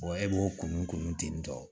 e b'o kunun kunun ten tɔ